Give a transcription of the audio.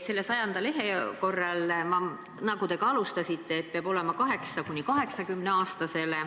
Nendel 100 leheküljel, nagu te ka alustasite, räägitakse, et peab sobima nii 8- kui ka 80-aastasele.